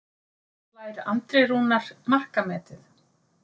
Slær Andri Rúnar markametið?